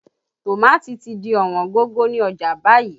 Tòmátì ti di Ọ̀wọ́n gógó ni ọjà báyìí